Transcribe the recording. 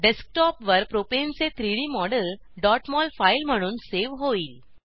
डेस्कटॉपवर प्रोपेनचे 3डी मॉडेल mol फाईल म्हणून सेव्ह होईल